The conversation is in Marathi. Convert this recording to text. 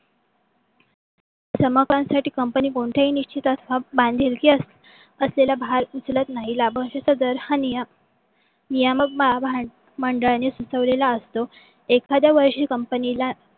समपणांसाठी company कोणतेही निश्चितस बांधिलकी असलेल्या भर उचलत नाही. लाभांशचा दर हा नियमक नियमक भाग मंडलांनी सुचविलेला असतो. एखाद्या वर्षी कंपनीला